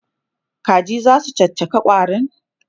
Kaji zasu caccaka ƙwarin?